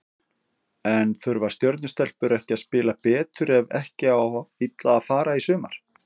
En þurfa Stjörnu stelpur ekki að spila betur ef ekki á illa fara í sumar?